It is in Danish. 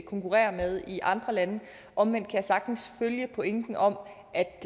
konkurrerer med i andre lande omvendt kan jeg sagtens følge pointen om at